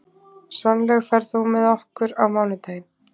Svanlaug, ferð þú með okkur á mánudaginn?